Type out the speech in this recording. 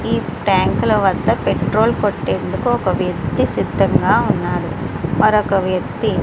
ఈ టాంక్ వద్ద పెట్రోల్ కొట్టేందుకు ఒక వ్యక్తి సిద్ధంగా ఉన్నాడు మరొక వ్యక్తి --